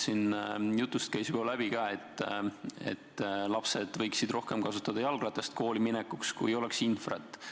Siit jutust käis juba läbi, et lapsed võiksid rohkem kasutada kooliminekuks jalgratast, kui oleks infra olemas.